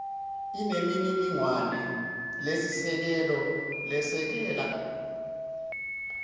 inemininingwane lesisekelo lesekela